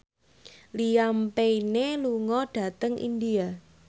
Liam Payne lunga dhateng India